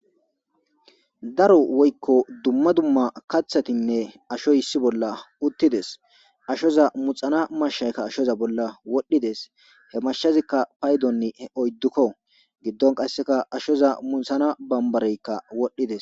daro woykko dumma dumma kathatinne ashoy issi bolla uttides ashoza muxana mashshaykka ashoza bolla wodhdhides he mashazikka paydonni oyddukko giddon qasseka ashoza munthana bambareykka wodhdhides